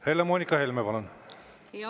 Helle-Moonika Helme, palun!